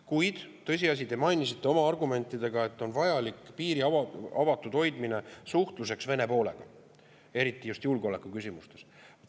Kuid te mainisite oma argumentidega, et on vajalik piiri avatud hoidmine suhtluseks Vene poolega, eriti just julgeolekuküsimustes.